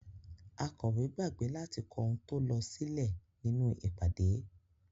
Akọ̀wé gbàgbé láti kó ohun tó lọ sílè nínú ìpàdé.